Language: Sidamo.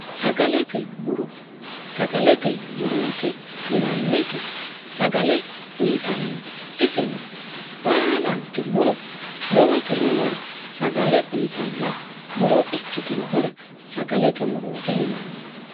sagalete muro sagalete murooti yinanniti sagale uyitannoti isino baalanti muro lowoti roore sagale uyitanno muro ikkitinohura sagalete murooti yinanni